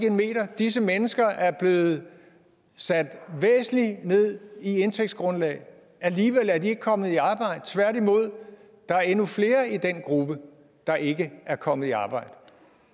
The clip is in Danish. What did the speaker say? en meter disse mennesker er blevet sat væsentligt ned i indtægtsgrundlag og alligevel er de ikke kommet i arbejde tværtimod er der endnu flere i den gruppe der ikke er kommet i arbejde